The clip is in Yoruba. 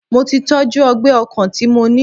Mo tí tọ́jú ọgbẹ́ ọkàn tí mo ní.